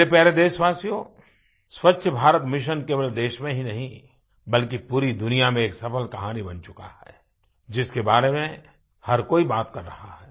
मेरे प्यारे देशवासियो स्वच्छ भारत मिशन केवल देश में ही नहीं बल्कि पूरी दुनिया में एक सफ़ल कहानी बन चुका है जिसके बारे में हर कोई बात कर रहा है